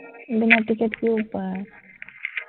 বিনা টিকেটকি উপাই